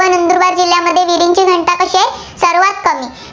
फार कमी